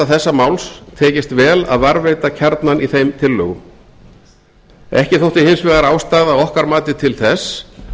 þessa máls tekist vel að varðveita kjarnann í þeim tillögum ekki þótti hins vegar ástæða að okkar mati til þess